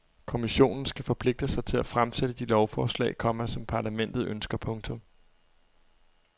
Kommissionen skal forpligte sig til at fremsætte de lovforslag, komma som parlamentet ønsker. punktum